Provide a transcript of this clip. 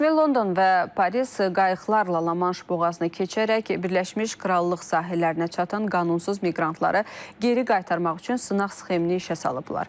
Rəsmi London və Paris qayıqlarla La-Manş boğazını keçərək Birləşmiş Krallıq sahillərinə çatan qanunsuz miqrantları geri qaytarmaq üçün sınaq sxemini işə salıblar.